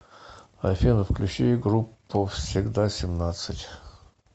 афина включи группу всегда семнадцать